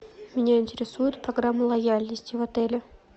меня интересует программа лояльности в отеле